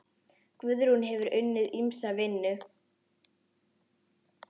Guðrún hefur unnið ýmsa vinnu.